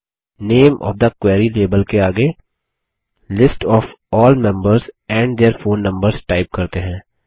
name of the query label के आगे list of all members and their phone numbers type करते हैं